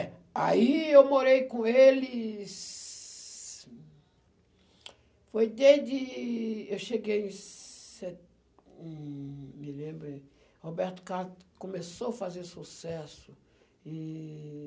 É. Aí eu morei com eles... Foi desde... Eu cheguei em se.... em... Me lembro... Roberto Carlos começou a fazer sucesso em